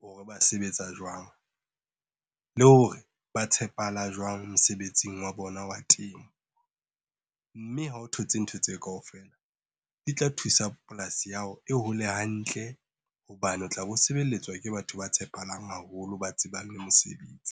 hore ba sebetsa jwang, le hore ba tshepahala jwang mosebetsing wa bona wa temo. Mme ha o thotse ntho tseo kaofela di tla thusa polasi ya hao e hole hantle. Hobane o tla be sebeletswa ke batho ba tshepahalang haholo ba tsebang le mosebetsi.